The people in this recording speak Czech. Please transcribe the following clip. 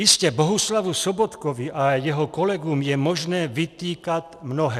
Jistě, Bohuslavu Sobotkovi a jeho kolegům je možné vytýkat mnohé.